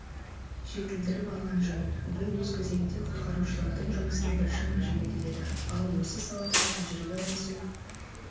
жетілдіріп алған жөн бұл өз кезегінде құтқарушылардың жұмысын біршама жеңілдетеді ал осы саладағы тәжірибе алмасу